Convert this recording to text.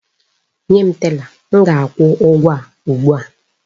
Nye m tela! M ga-akwụ ụgwọ a ugbu a!